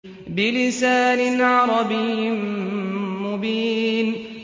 بِلِسَانٍ عَرَبِيٍّ مُّبِينٍ